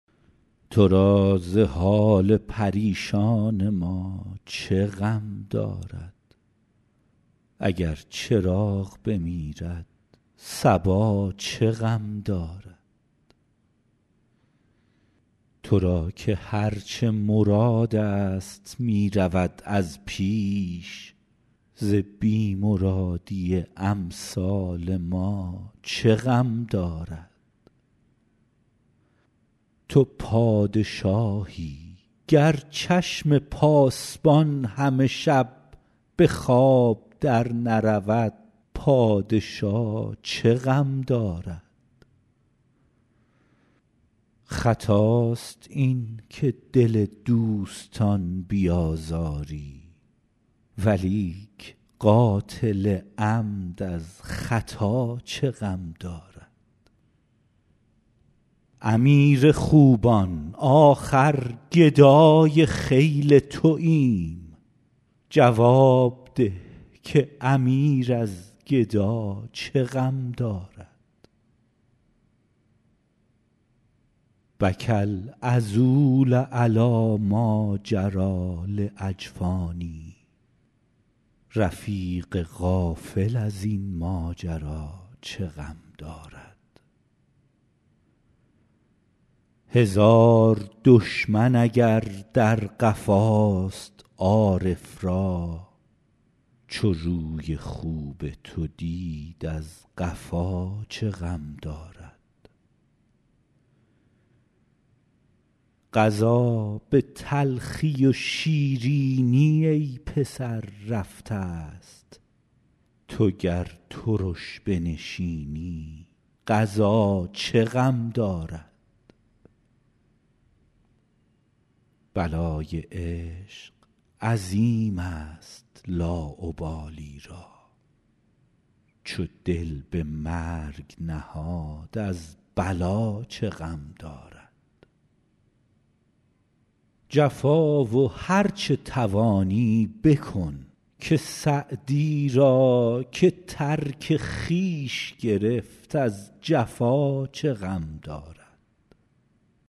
تو را ز حال پریشان ما چه غم دارد اگر چراغ بمیرد صبا چه غم دارد تو را که هر چه مرادست می رود از پیش ز بی مرادی امثال ما چه غم دارد تو پادشاهی گر چشم پاسبان همه شب به خواب درنرود پادشا چه غم دارد خطاست این که دل دوستان بیازاری ولیک قاتل عمد از خطا چه غم دارد امیر خوبان آخر گدای خیل توایم جواب ده که امیر از گدا چه غم دارد بکی العذول علی ماجری لاجفانی رفیق غافل از این ماجرا چه غم دارد هزار دشمن اگر در قفاست عارف را چو روی خوب تو دید از قفا چه غم دارد قضا به تلخی و شیرینی ای پسر رفتست تو گر ترش بنشینی قضا چه غم دارد بلای عشق عظیمست لاابالی را چو دل به مرگ نهاد از بلا چه غم دارد جفا و هر چه توانی بکن که سعدی را که ترک خویش گرفت از جفا چه غم دارد